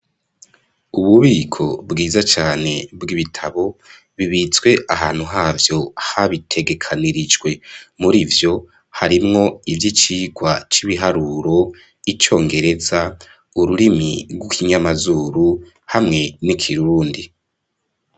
Ububiko bwiza cane, bw'ibitabo, bibitswe ahantu havyo, habitegekanirijwe; muri vyo, harimwo ivy'icigwa c'ibiharuro, icongereza, ururimi rw'ikinyamazuru, hamwe n'ikirundi.